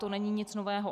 To není nic nového.